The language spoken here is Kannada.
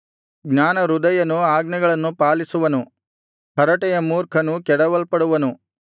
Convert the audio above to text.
ಜ್ಞಾನಹೃದಯನು ಆಜ್ಞೆಗಳನ್ನು ಪಾಲಿಸುವನು ಹರಟೆಯ ಮೂರ್ಖನು ಕೆಡವಲ್ಪಡುವನು